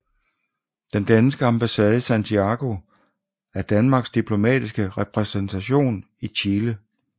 Den danske ambassade i Santiago er Danmarks diplomatiske repræsentation i Chile